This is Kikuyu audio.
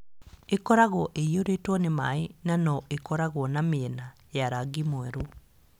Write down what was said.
Ĩkoragwo ĩiyũrĩtwo nĩ maĩ na no ĩkorũo na mĩena ya rangi mwerũ.